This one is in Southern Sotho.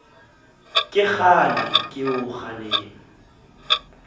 ke kgale ke o kgalema